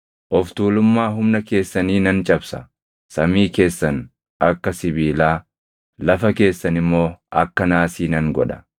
Of tuulummaa humna keessanii nan cabsa; samii keessan akka sibiilaa, lafa keessan immoo akka naasii nan godha.